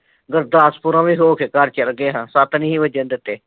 ਗੁਰਦਾਸਪੁਰੋਂ ਵੀ ਹੋਕੇ ਵੀ ਘਰ ਚਲਗੇ ਸਾ ਸੱਤ ਨੀ ਸੀ ਵੱਜਣ ਦਿੱਤੇ